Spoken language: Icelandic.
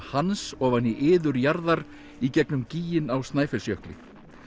Hans ofan í iður jarðar í gegnum á Snæfellsjökli